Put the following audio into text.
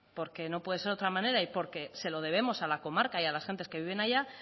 porque no puede ser otra manera y porque se lo debemos a la comarca y a las gentes que viven allá